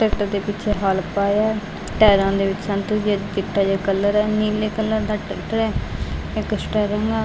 Tractor ਦੇ ਪਿੱਛੇ ਹੱਲ ਪਾਯਾ ਹੈ ਟਾਇਰਾਂ ਦੇ ਵਿੱਚ ਸੰਤਰੀ ਅਤੇ ਚਿੱਟਾ ਜੇਹਾ ਕਲਰ ਹੈ ਨੀਲੇ ਕਲਰ ਦਾ ਟਰੈਕਟਰ ਹੈ ਇੱਕ ਸਟੇਅਰਿੰਗ ਆ।